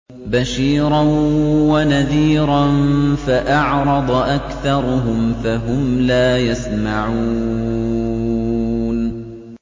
بَشِيرًا وَنَذِيرًا فَأَعْرَضَ أَكْثَرُهُمْ فَهُمْ لَا يَسْمَعُونَ